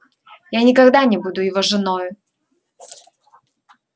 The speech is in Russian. я никогда не буду его женою